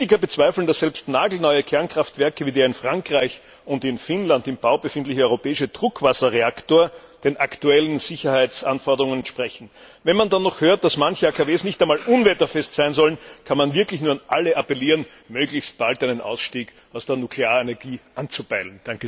Kritiker bezweifeln, dass selbst nagelneue Kernkraftwerke wie der in Frankreich und in Finnland im Bau befindliche europäische Druckwasserreaktor den aktuellen Sicherheitsanforderungen entsprechen. Wenn man dann noch hört, dass manche AKW nicht einmal unwetterfest sein sollen, kann man wirklich nur an alle appellieren, möglichst bald einen Ausstieg aus der Nuklearenergie anzupeilen.